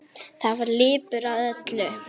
Þar var ilmur af öllu.